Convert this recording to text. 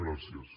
gràcies